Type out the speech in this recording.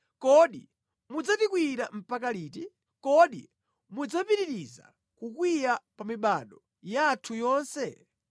Kodi mudzatikwiyira mpaka liti? Kodi mudzapitiriza kukwiya pa mibado yathu yonse?